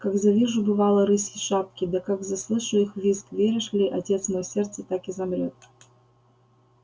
как завижу бывало рысьи шапки да как заслышу их визг веришь ли отец мой сердце так и замрёт